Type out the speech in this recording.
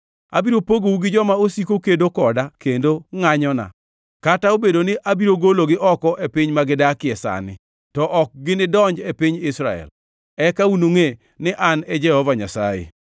Abiro pogou gi joma osiko kedo koda kendo ngʼanyona, kata obedo ni abiro gologi oko e piny ma gidake sani, to ok ginidonj e piny Israel. Eka unungʼe ni An e Jehova Nyasaye.